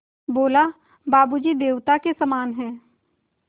बोला बाबू जी देवता के समान हैं